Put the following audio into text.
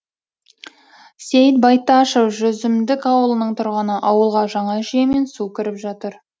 сейіт байташов жүзімдік ауылының тұрғыны ауылға жаңа жүйемен су кіріп жатыр